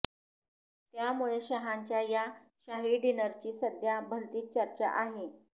त्यामुळे शंहाच्या या शाही डिनरची सध्या भलतीच चर्चा आहे